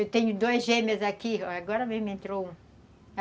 Eu tenho dois gêmeos aqui, agora mesmo entrou um.